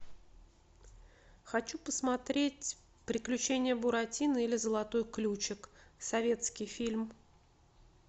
хочу посмотреть приключения буратино или золотой ключик советский фильм